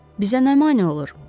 Bizə nə mane olur?